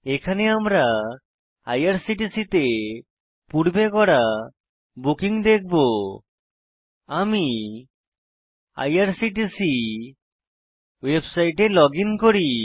এখানে আমরা আইআরসিটিসি তে পূর্বে করা বুকিং দেখবো আমি আইআরসিটিসি ওয়েবসাইটে লগইন করি